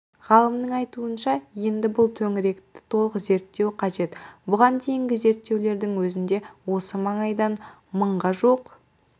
ғалымның айтуынша енді бұл төңіректі толық зерттеу қажет бұған дейінгі зерттеулердің өзінде осы маңайдан мыңға жуық